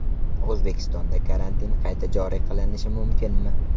O‘zbekistonda karantin qayta joriy qilinishi mumkinmi?